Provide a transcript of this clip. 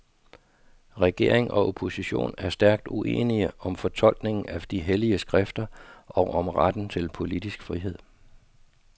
Regering og opposition er stærkt uenige om fortolkningen af de hellige skrifter og om retten til politisk frihed.